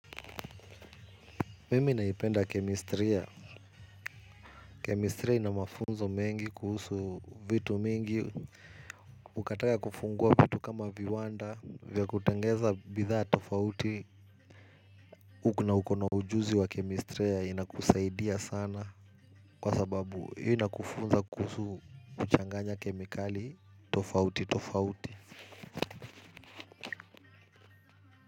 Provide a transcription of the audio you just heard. Mimi naipenda kemistria. Kemistria ina mafunzo mengi kuhusu vitu mingi ukataka kufungua vitu kama viwanda vya kutenengeza bidhaa tofauti uko na uko na ujuzi wa kemistria inakusaidia sana kwa sababu inakufunza kuhusu kuchanganya kemikali tofauti tofauti.